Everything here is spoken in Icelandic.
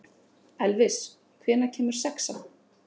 Elvis, hvenær kemur sexan?